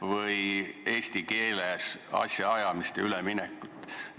– või eesti keeles asjaajamisele üleminekut.